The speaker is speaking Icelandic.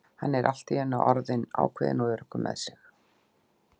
Hann er allt í einu orðinn ákveðinn og öruggur með sig.